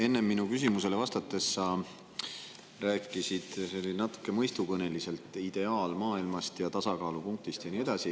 Enne minu küsimusele vastates sa rääkisid natuke mõistukõneliselt ideaalmaailmast ja tasakaalupunktist ja nii edasi.